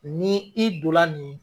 Ni i donla nin